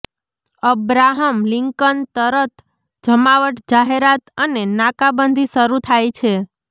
Abraham Lincoln તરત જમાવટ જાહેરાત અને નાકાબંધી શરૂ થાય છે